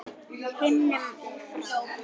himnum í frá